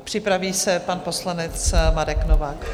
A připraví se pan poslanec Marek Novák.